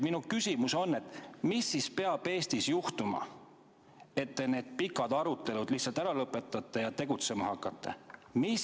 Minu küsimus on: mis peaks Eestis juhtuma, et te need pikad arutelud lihtsalt ära lõpetaksite ja tegutsema hakkaksite?